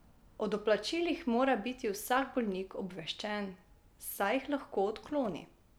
O doplačilih mora biti vsak bolnik obveščen, saj jih lahko odkloni.